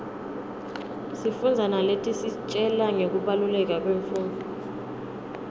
sifundza naletisitjela ngekubaluleka kwemfundvo